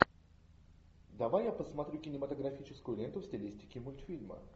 давай я посмотрю кинематографическую ленту в стилистике мультфильма